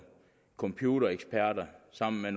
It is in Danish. computereksperter sammen med